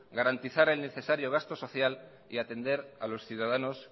garantizar el necesario gasto social y atender a los ciudadanos